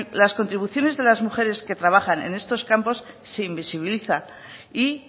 las contribuciones de las mujeres que trabajan en estos campos se invisibilizan y